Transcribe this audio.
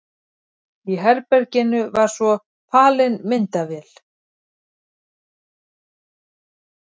Í herberginu var svo falin myndavél.